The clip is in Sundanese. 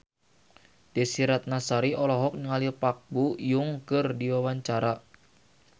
Desy Ratnasari olohok ningali Park Bo Yung keur diwawancara